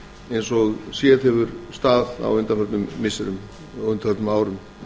eins og sést hefur á undanförnum missirum og árum